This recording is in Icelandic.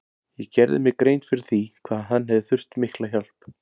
Ég gerði mér grein fyrir því hvað hann hefði þurft mikla hjálp.